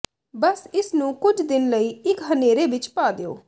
ਬਸ ਇਸ ਨੂੰ ਕੁਝ ਦਿਨ ਲਈ ਇੱਕ ਹਨੇਰੇ ਵਿੱਚ ਪਾ ਦਿਓ